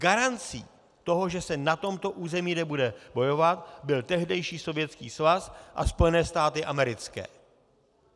Garancí toho, že se na tomto území nebude bojovat, byl tehdejší Sovětský svaz a Spojené státy americké.